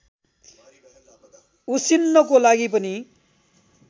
उसिन्नको लागि पनि